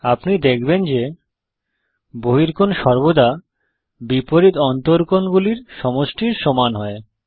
আপনি দেখবেন যে বহিকোণ সর্বদা বিপরীত অন্তকোণ গুলির সমষ্টির সমান হয়